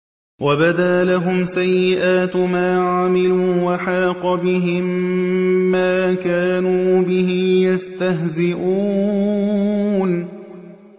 وَبَدَا لَهُمْ سَيِّئَاتُ مَا عَمِلُوا وَحَاقَ بِهِم مَّا كَانُوا بِهِ يَسْتَهْزِئُونَ